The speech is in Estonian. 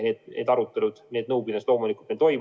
Need arutelud, nõupidamised loomulikult meil toimusid.